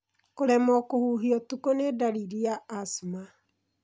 Kũremwo kũhuhia ũtukũ nĩ ndariri ya asthma.